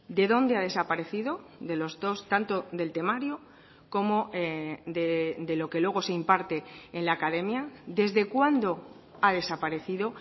de dónde ha desaparecido de los dos tanto del temario como de lo que luego se imparte en la academia desde cuándo ha desaparecido